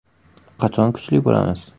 Qachon kuchli bo‘lamiz?